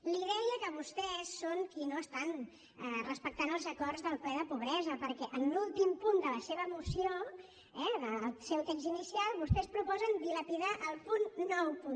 li deia que vostès són qui no estan respectant els acords del ple de la pobresa perquè en l’últim punt de la seva moció eh del seu text inicial vostès proposen dilapidar el punt nou